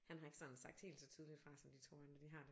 Han har ikke sådan sagt helt så tydeligt fra som de 2 andre de har